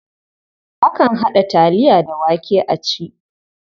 Akan haɗa taliya da wake a ci.